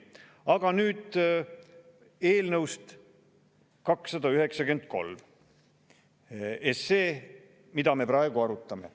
Aga nüüd eelnõust 293, mida me praegu arutame.